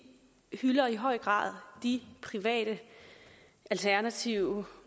hylder i høj grad de private alternative